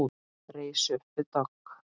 Reis upp við dogg.